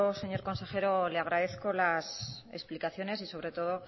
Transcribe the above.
señor consejero le agradezco las explicaciones y sobre todo